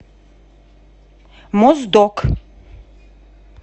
моздок